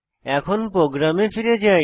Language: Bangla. এখন প্রোগ্রামে ফিরে যাই